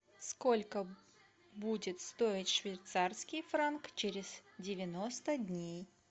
сколько будет стоить швейцарский франк через девяносто дней